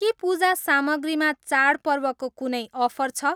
के पूजा सामग्रीमा चाडपर्वको कुनै अफर छ?